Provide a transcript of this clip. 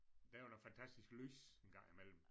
Der er noget fantastisk lys engang imellem